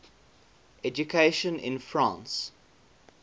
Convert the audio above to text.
education in france